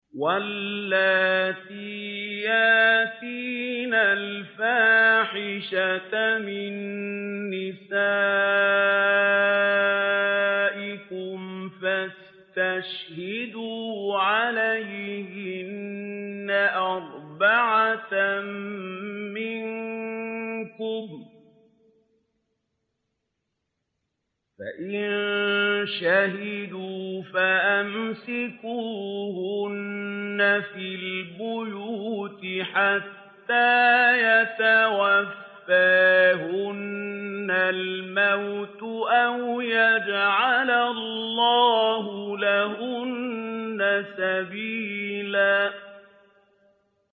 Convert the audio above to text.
وَاللَّاتِي يَأْتِينَ الْفَاحِشَةَ مِن نِّسَائِكُمْ فَاسْتَشْهِدُوا عَلَيْهِنَّ أَرْبَعَةً مِّنكُمْ ۖ فَإِن شَهِدُوا فَأَمْسِكُوهُنَّ فِي الْبُيُوتِ حَتَّىٰ يَتَوَفَّاهُنَّ الْمَوْتُ أَوْ يَجْعَلَ اللَّهُ لَهُنَّ سَبِيلًا